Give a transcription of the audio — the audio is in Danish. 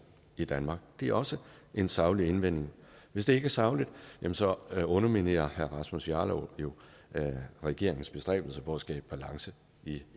i danmark det er også en saglig indvending hvis det ikke er sagligt så underminerer herre rasmus jarlov jo regeringens bestræbelser på at skabe balance i